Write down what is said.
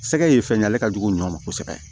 Sɛgɛ ye fɛn ye ale ka jugu ɲɔ ma kosɛbɛ